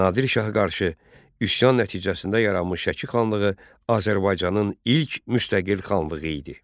Nadir Şaha qarşı üsyan nəticəsində yaranmış Şəki xanlığı Azərbaycanın ilk müstəqil xanlığı idi.